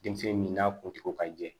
Denmisɛn min n'a kuntugu ka di jɛ